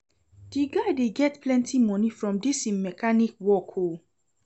Di guy dey get plenty moni from dis im mechanic work o.